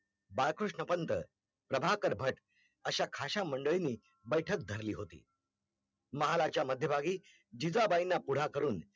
बाळकृष्ण पंत, प्रभाकर भाट, अशा खाशा मंडळीनी बैठक धरली होती, महालाच्या मध्यभागी जिजाबाईना पुढा करून